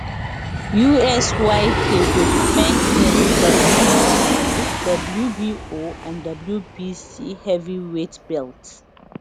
usyk go defend im wba wbo and wbc heavyweight belts